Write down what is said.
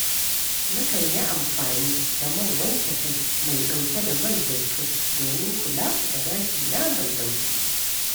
Nakan yi amfani da man wanke kai mai ɗauke da man zaitun domin kula da gashina mai laushi.